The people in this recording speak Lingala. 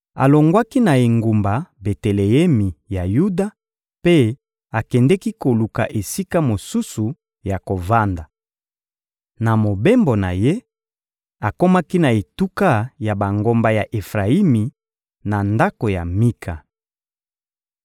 Alongwaki na engumba Beteleemi ya Yuda mpe akendeki koluka esika mosusu ya kovanda. Na mobembo na ye, akomaki na etuka ya bangomba ya Efrayimi, na ndako ya Mika.